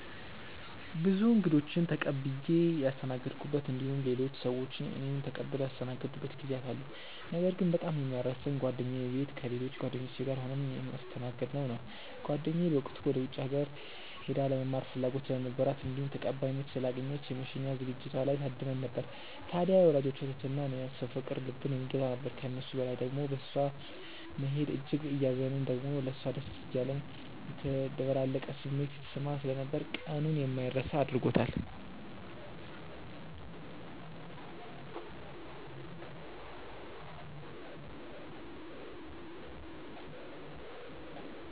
ብዙ እንግዶችን ተቀብዬ ያስተናገድኩበት እንዲሁም ሌሎች ሰዎች እኔን ተቀብለው ያስተናገዱበት ጊዜያት አሉ። ነገር ግን በጣም የማይረሳኝ ጓደኛዬ ቤት ከሌሎች ጓደኞቼ ጋር ሆነን የተስተናገድነው ነው። ጓደኛዬ በወቅቱ ወደ ውጪ ሀገር ሄዳ ለመማር ፍላጎት ስለነበራት እንዲሁም ተቀባይነት ስላገኘች የመሸኛ ዝግጅቷ ላይ ታድመን ነበር። ታድያ የወላጆቿ ትህትና እና የሰው ፍቅር ልብን የሚገዛ ነበር። ከሱ በላይ ደሞ በእሷ መሄድ እጅግ እያዘንን ደሞም ለሷ ደስ እያለን የተደበላለቀ ስሜት ሲሰማን ስለነበር ቀኑን የማይረሳ አድርጎታል።